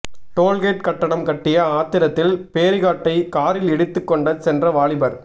tollgate கட்டணம் கட்டிய ஆத்திரத்தில் பேரிகாட்டை காரில் இடித்து கொண்ட சென்ற வாலிபர்